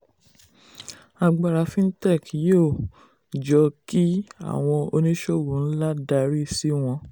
agbára fintech yóò um jọ kí àwọn oníṣòwò ńlá darí um si wọn.